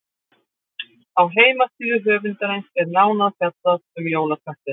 Á heimasíðu höfundarins er nánar fjallað um jólaköttinn.